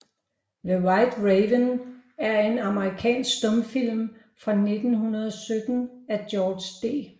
The White Raven er en amerikansk stumfilm fra 1917 af George D